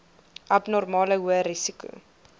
abnormale hoë risiko